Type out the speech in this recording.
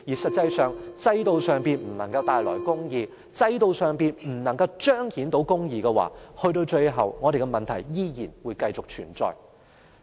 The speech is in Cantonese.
實際上，如果制度上不能帶來公義，制度上不能夠彰顯公義的話，直至最終，香港的問題依然會繼續存在。